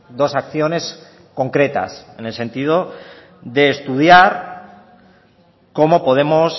dos acciones concretas en el sentido de estudiar cómo podemos